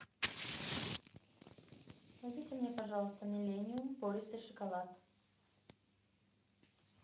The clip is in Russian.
найдите мне пожалуйста миллениум пористый шоколад